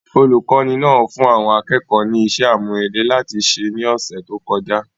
Olùkọ́ni náà fún àwọn akẹ́kọ̀ọ́ ní iṣẹ́ àmúrelé láti ṣe ní ọ̀sẹ̀ tó kọjá